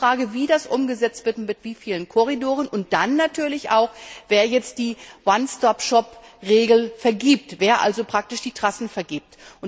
Es ist nur die Frage, wie das umgesetzt wird, mit wie vielen Korridoren und dann natürlich auch wer jetzt die One Stop Shop Regeln festlegt, wer also die Trassen vergibt.